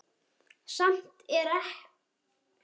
Samt er þetta ekkert veður og þeir róa.